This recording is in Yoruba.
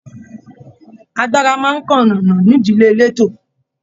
Agbára máa n nkánkànnà n'ídílé eleto.